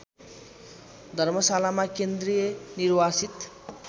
धर्मशालामा केन्द्रीय निर्वासित